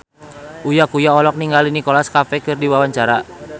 Uya Kuya olohok ningali Nicholas Cafe keur diwawancara